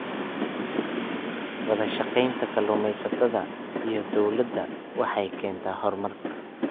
Wadashaqeynta kalluumeysatada iyo dowladda waxay keentaa horumar.